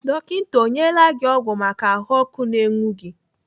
Dọkita ọ nyela gị ọgwụ maka ahụọkụ na-enwu gị?